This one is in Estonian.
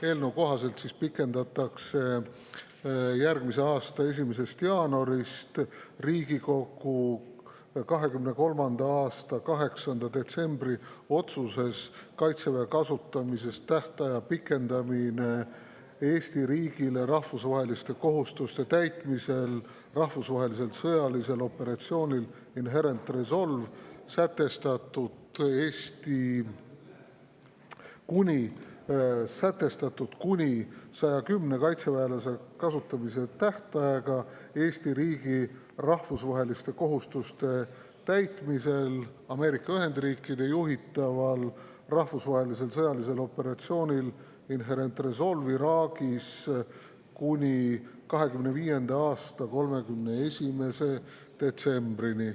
Eelnõu kohaselt pikendatakse järgmise aasta 1. jaanuarist Riigikogu 2023. aasta 8. detsembri otsuses "Kaitseväe kasutamise tähtaja pikendamine Eesti riigi rahvusvaheliste kohustuste täitmisel rahvusvahelisel sõjalisel operatsioonil Inherent Resolve" sätestatud kuni 110 kaitseväelase kasutamise tähtaega Eesti riigi rahvusvaheliste kohustuste täitmisel Ameerika Ühendriikide juhitaval rahvusvahelisel sõjalisel operatsioonil Inherent Resolve Iraagis kuni 2025. aasta 31. detsembrini.